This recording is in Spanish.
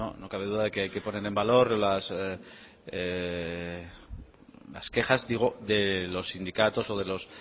no cabe duda de que hay que poner en valor las quejas digo de los sindicatos o de